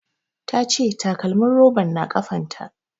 Ta ce takalmin roban na kafan ta